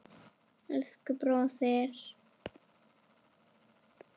Elsku bróðir.